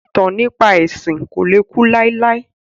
Ìtàn nípa ẹ̀sìn ko le ku láéláé